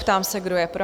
Ptám se, kdo je pro?